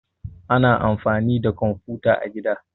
Ana amfani da komfuta a gida